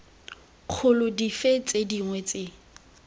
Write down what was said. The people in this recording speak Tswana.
kgolo dife tse dingwe tse